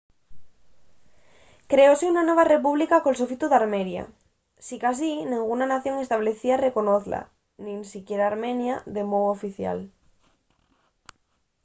creóse una nueva república col sofitu d’armenia. sicasí nenguna nación establecida reconozla – nin siquier armenia – de mou oficial